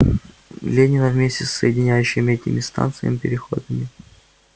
ленина вместе с соединяющими этими станциями переходными